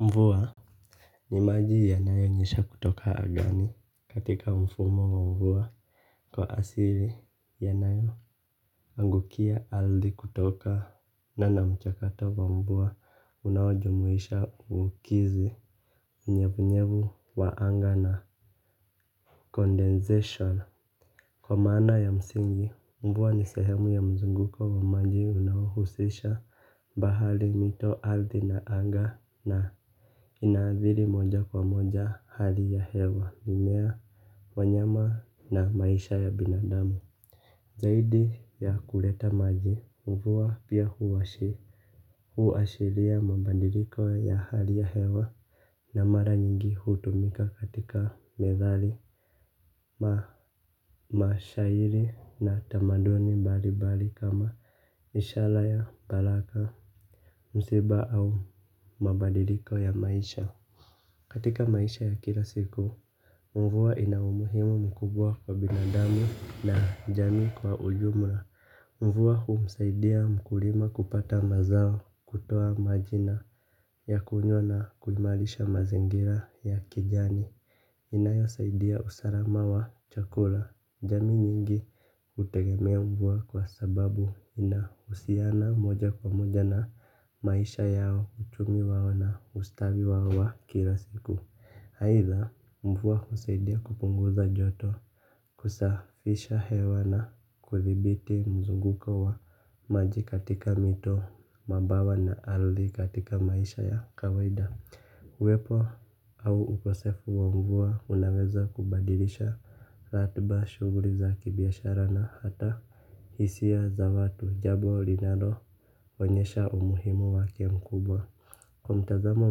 Mvua. Ni maji yanayonyesha kutoka angani katika mfumo mvua kwa asili yanayo angukia ardhi kutokana na mchakato kwa mvua unawajumuisha kukidhi unvevunyevu wa anga na Condensation Kwa maana ya msingi. Mvua ni sehemu ya mzunguko wa maji unawaohusisha bahari mito ardhi na anga na ina athiri moja kwa moja hali ya hewa mimea wanyama na maisha ya binadamu. Zaidi ya kuleta maji mvua pia huashiria mabandilko ya hali ya hewa na mara nyingi hutumika katika methali. Na mashairi na tamaduni mbalimbali kama ishara ya baraka msiba au mabandiliko ya maisha. Katika maisha ya kila siku, mvua ina umuhimu mkubwa kwa binadamu na jamii kwa ujumla. Mvua kumsaidia mkulima kupata mazao kutoa maji na ya kunywa na kuimarisha mazingira ya kijani. Inayosaidia usalama wa chakula. Jamii nyingi kutegemea mvua kwa sababu inahusiana moja kwa moja na maisha yao uchumi wao na ustawi wao wa kila siku. Aitha mvua kusaidia kupunguza joto. Kusafisha hewa na kuthibiti mzunguko wa maji katika mito mabwawa na ardhi katika maisha ya kawaida. Uwepo au ukosefu wa mvua unaweza kubadilisha ratiba shughuli za kibiashara na hata hisia za watu jambo linaloonyesha umuhimu wake mkubwa kwa mtazamo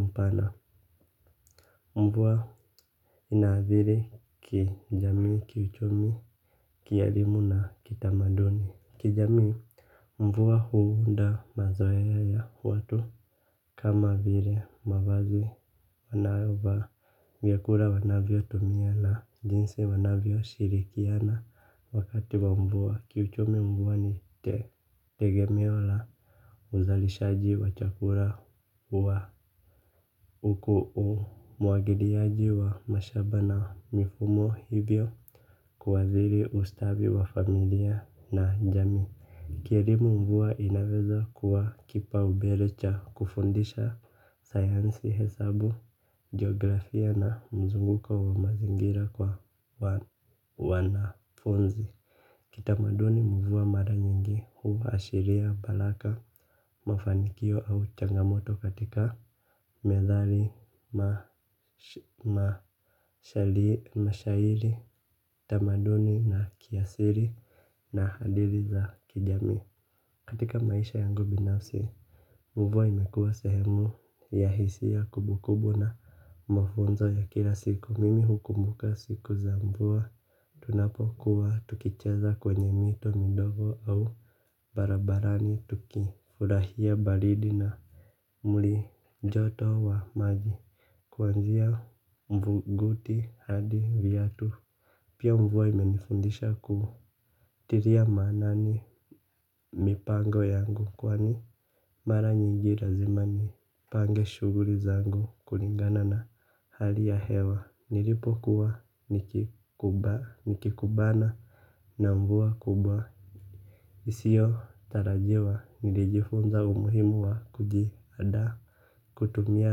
mpana, mvua ina athiri kijamii, kiuchumi, kielimu na kitamaduni, kijamii mvua huunda mazoea ya watu kama vile mavazi wanayovaa vyakula wanavyo tumia na jinsi wanavyo shirikiana wakati wa mvua. Kiuchumi mvua ni tegemeo la uzalishaji wa chakula wa uku umwagiliaji wa mashamba na mifumo hivyo kuathiri ustawi wa familia na jamii. Kielimu mvua inaweza kuwa kipaumbele cha kufundisha sayansi hesabu, geografia na mzunguko wa mazingira kwa wanafunzi. Kitamaduni mvua mara nyingi huashiria baraka. Mafanikio au changamoto katika medhali, mashairi, mashairi tamaduni na kiasili na hadithi za kijamii. Katika maisha yangu binafsi, mvua imekua sehemu ya hisia kumbukumbu na mafunzo ya kila siku. Mimi hukumbuka siku za mvua, tunapokuwa tukicheza kwenye mito midogo au barabarani tukifurahia baridi na muli joto wa maji. Kuanzia mvuguti hadi viatu. Pia mvua imenifundisha kutilia maanani mipango yangu. Kwani mara nyingi lazima nipange shughuli zangu. Kulingana na hali ya hewa. Nilipo kuwa nikikubana na mvua kubwa isiyotarajiwa nilijifunza umuhimu wa kujiandaa. Kutumia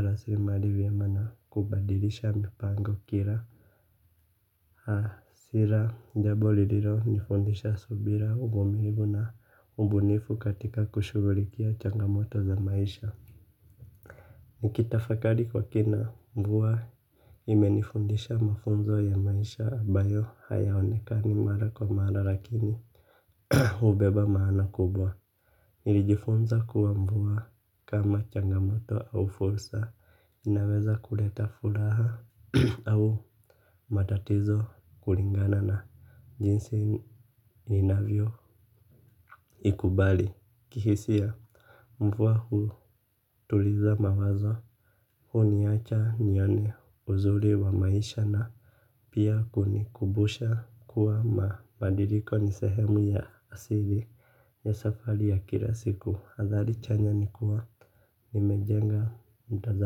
rasilimali vyema na kubadilisha mipango kila sera jambo lililonifundisha subira uvumilivu na ubunifu katika kushughulikia changamoto za maisha. Nikitafakari kwa kina mvua imenifundisha mafunzo ya maisha ambayo hayaonekani mara kwa mara lakini hubeba maana kubwa nilijifunza kuwa mvua kama changamoto au fursa inaweza kuleta furaha au matatizo kulingana na jinsi inavyo ikubali. Kihisia mvua hutuliza mawazo huniacha nione uzuri wa maisha na pia kunikumbusha kuwa mabadiliko ni sehemu ya asili ya safari ya kila siku athari chanya ni kuwa nimejenga mtazamo.